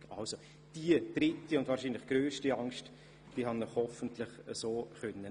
Damit habe ich Ihnen hoffentlich diese dritte und wohl grösste Angst nehmen können.